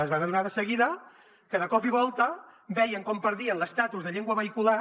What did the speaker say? es van adonar de seguida que de cop i volta veien com perdien l’estatus de llengua vehicular